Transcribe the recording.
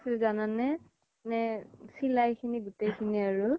জানানে মানে চিলাই খিনি গুতেই খিনি আৰু